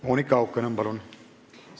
Monika Haukanõmm, palun!